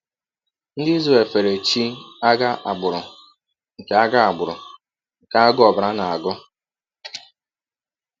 Ndị Izrel fere ‘chi agha agbụrụ’ nke agha agbụrụ’ nke agụụ ọbara na-agụ.